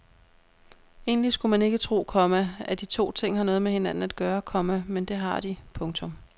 Egentlig skulle man ikke tro, komma at de to ting har noget med hinanden at gøre, komma men det har de. punktum